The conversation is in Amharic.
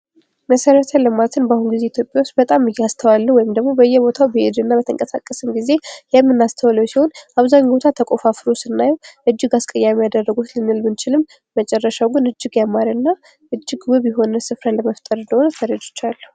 መሰረተ ልማትን በአሁኑ ጊዜ ኢትዮጵያ ውስጥ በጣም እያስተዋልነው ወይም ደግሞ በየቦታው በተንቀሳቀስን ጊዜ የምናስተውለው ሲሆን ፤አብዛኞቹ ቦታ የተቆፋፈረው ስናይ እጅግ አስቀያሚ አደረጉት ልንል ብንችልም መጨረሻው ግን እጅግ ያማረና እጅግ ውብ የሆነ ሥፍራ ለመፍጠር እንደሆነ ተረድቻለሁ።